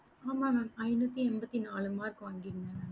ஆமா mam ஐனூத்தி எம்பத்தி நாழு மார்க் வாங்கிருந்த